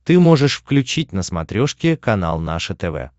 ты можешь включить на смотрешке канал наше тв